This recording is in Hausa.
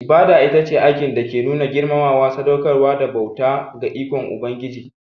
Ibada ita ce aikin nuna girmamawa, sadaukarwa da bauta ga Ubangiji ko ikon Ubangiji.